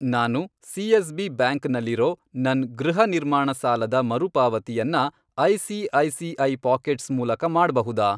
ನಾನು CSB. Bank ನಲ್ಲಿರೋ ನನ್ ಗೃಹ ನಿರ್ಮಾಣ ಸಾಲದ ಮರುಪಾವತಿಯನ್ನ ಐ.ಸಿ.ಐ.ಸಿ.ಐ. ಪಾಕೆಟ್ಸ್ ಮೂಲಕ ಮಾಡ್ಬಹುದಾ?